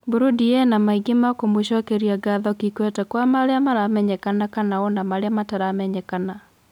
Burindi ina maingi ma kumucokeria ngatho Kikwete kwa maria maramenyekana kana ona maria mataramenyekana.